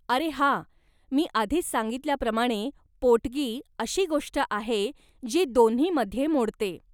अरे हा, मी आधीच सांगितल्याप्रमाणे पोटगी अशी गोष्ट आहे जी दोन्हीमध्ये मोडते.